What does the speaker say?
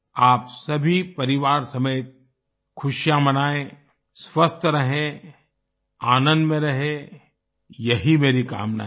आप सभी परिवार समेत खुशियां मनाएं स्वस्थ रहें आनंद में रहें यही मेरी कामना है